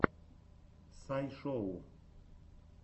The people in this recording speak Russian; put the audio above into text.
сай шоу